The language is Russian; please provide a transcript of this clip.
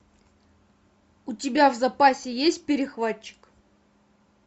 у тебя в запасе есть перехватчик